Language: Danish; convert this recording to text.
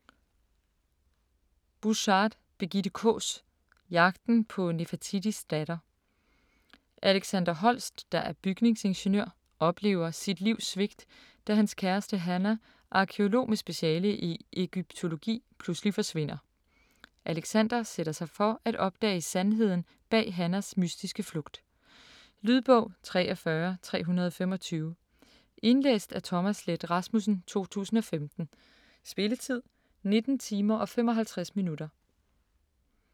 Buschard, Birgitte Kaas: Jagten på Nefertitis datter Alexander Holst, der er bygningsingeniør, oplever sit livs svigt, da hans kæreste Hannah, arkæolog med speciale i egyptologi, pludselig forsvinder. Alexander sætter sig for at opdage sandheden bag Hannahs mystiske flugt. Lydbog 43325 Indlæst af Thomas Leth Rasmussen, 2015. Spilletid: 19 timer, 55 minutter.